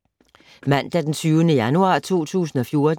Mandag d. 20. januar 2014